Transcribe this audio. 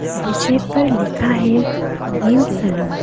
शीशे पर लिखा है निम सलून ।